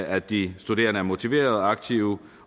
at de studerende er motiverede og aktive